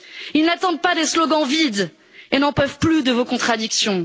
Ils n'attendent pas des slogans vides et n'en peuvent plus de vos contradictions.